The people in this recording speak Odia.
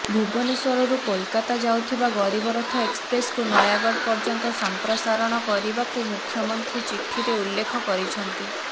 ଭୁବନେଶ୍ୱରରୁ କୋଲକାତା ଯାଉଥିବା ଗରିବ ରଥ ଏକ୍ସପ୍ରେସକୁ ନୟାଗଡ଼ ପର୍ୟ୍ୟନ୍ତ ସଂପ୍ରସାରଣ କରିବାକୁ ମୁଖ୍ୟମନ୍ତ୍ରୀ ଚିଠିରେ ଉଲ୍ଲେଖ କରିଛନ୍ତି